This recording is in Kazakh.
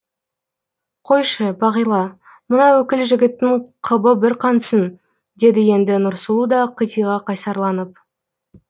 қойшы бағила мына өкіл жігіттің қыбы бір қансын деді енді нұрсұлу да қитыға қайсарланып